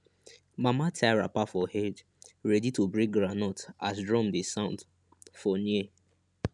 mama tie wrapper for head ready to break groundnut as drum dey sound for near